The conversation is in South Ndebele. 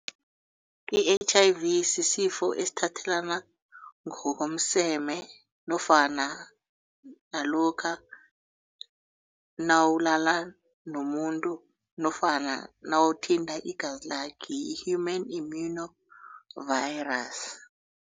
I-H_I_V sisifo esithathelana ngokomseme nofana nalokha nawulala nomuntu nofana nawuthinta igazi lakhe yi-Human Immuno Virus.